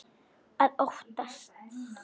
Að óttast!